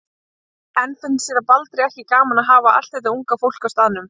En finnst séra Baldri ekki gaman að hafa allt þetta unga fólk á staðnum?